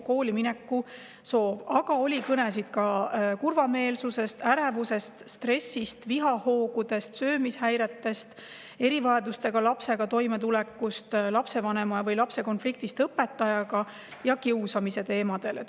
Aga on olnud kõnesid ka kurvameelsus, ärevus, stress, vihahood, söömishäired, toimetulek erivajadusega lapsega, lapsevanema või lapse konflikt õpetajaga ja kiusamine.